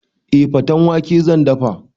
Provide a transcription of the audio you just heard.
Eh, faten wake zan dafa